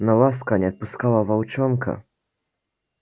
но ласка не отпускала волчонка